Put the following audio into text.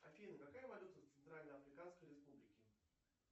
афина какая валюта в центрально африканской республике